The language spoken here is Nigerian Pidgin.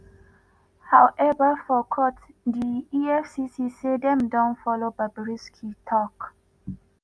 however for court di efcc say dem don follow bobrisky tok